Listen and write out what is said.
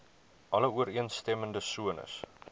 alle ooreenstemmende sones